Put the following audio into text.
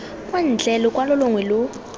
kwa ntle lokwalo longwe lo